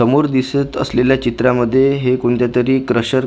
समोर दिसत असलेल्या चित्रामध्ये हे कोणत्यातरी क्रशर याचं--